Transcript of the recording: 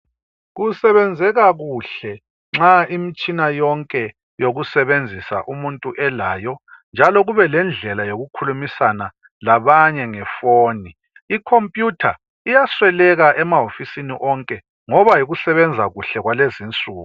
Kusebenzeka kuhle nxa imitshina yokusebenzisa umuntu elayo njalo kube lendlela yokukhulumisana labanye ngefoni. Ikhompuyutha iyasweleka emahofisini amanye ngoba yikusebenza kuhle kwalezi insuku.